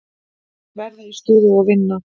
Þeir verða í stuði og vinna.